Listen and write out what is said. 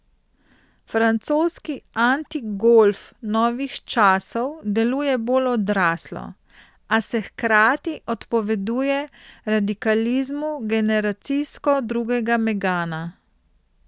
Francoski antigolf novih časov deluje bolj odraslo, a se hkrati odpoveduje radikalizmu generacijsko drugega megana.